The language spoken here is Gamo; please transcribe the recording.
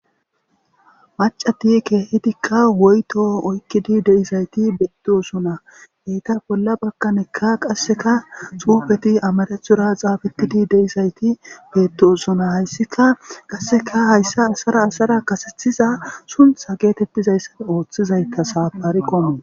macati keehitikka woyto oykkidi deizayti beettosona heyta bolla bakkanekka qasseka xuufeti amarethora xaafetidi deizayti beettosuna hayssika qasseka hayssa asara asara kasethiza suntha geetettizayssa ooththizayta saapariqono